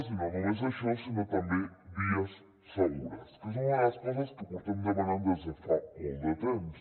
i no només això sinó també vies segures que és una de les coses que portem demanant des de fa molt de temps